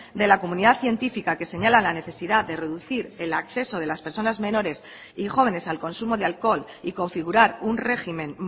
de la comunidad científica que señala la necesidad de reducir el acceso de las personas menores y jóvenes al consumo de alcohol y configurar un régimen